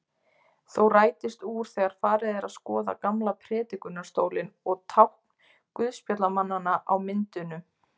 Þó rætist úr þegar farið er að skoða gamla prédikunarstólinn og tákn guðspjallamannanna á myndunum.